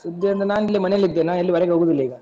ಸುದ್ದಿ ಅಂದ್ರೆ ನಾನ್ ಇಲ್ಲಿ ಮನೇಲಿದ್ದೆ, ನಾನ್ ಎಲ್ಲಿ ಹೊರಗೆ ಹೋಗುದಿಲ್ಲ ಈಗ.